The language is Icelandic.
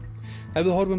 ef við horfum